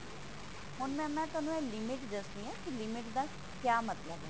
ਹੁਣ mam ਮੈਂ ਤੁਹਾਨੂੰ limit ਦੱਸਦੀ ਹਾਂ ਕਿ limit ਦਾ ਕ੍ਯਾ ਮਤਲਬ ਹੈ